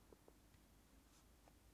Søndag den 20. juli - P3: